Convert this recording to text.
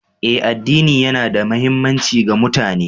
Eh, addini yana da muhimmanci ga mutane